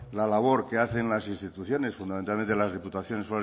la labor que hacen las instituciones fundamentalmente las diputaciones